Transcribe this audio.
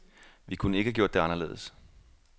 Vi kunne ikke have gjort det anderledes.